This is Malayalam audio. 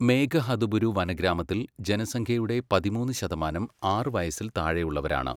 മേഘഹതുബുരു വനഗ്രാമത്തിൽ, ജനസംഖ്യയുടെ പതിമൂന്ന് ശതമാനം ആറ് വയസ്സിൽ താഴെയുള്ളവരാണ്.